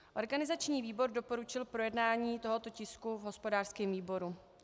Organizační výbor doporučil projednání tohoto tisku v hospodářském výboru.